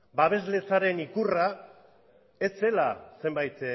babesletzaren ikurra ez zela zenbait